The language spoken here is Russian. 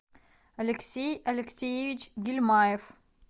алексей алексеевич гильмаев